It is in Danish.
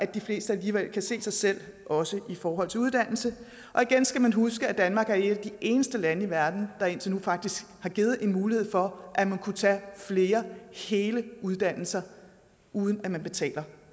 de fleste alligevel kunne se sig selv også i forhold til uddannelse og igen skal man huske at danmark faktisk er et af de eneste lande i verden der indtil nu har givet mulighed for at man kunne tage flere hele uddannelser uden at man betalte